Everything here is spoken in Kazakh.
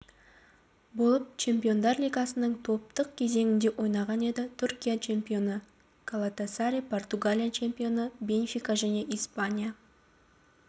болып чемпиондар лигасының топтық кезеңінде ойнаған еді түркия чемпионы галатасарай португалия чемпионы бенфика және испания